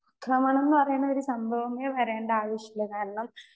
Speaker 2 അക്രമണം എന്ന് പറയണ ഒരു സംഭവമേ വരേണ്ട ആവശ്യമില്ല. കാരണം